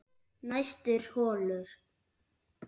Næstur holu